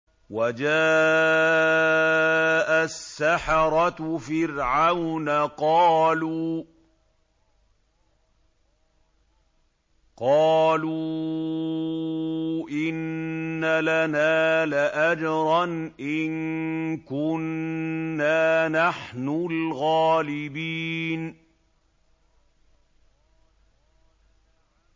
وَجَاءَ السَّحَرَةُ فِرْعَوْنَ قَالُوا إِنَّ لَنَا لَأَجْرًا إِن كُنَّا نَحْنُ الْغَالِبِينَ